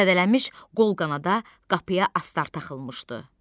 Zədələnmiş qol-qanada qapıya astar taxılmışdı.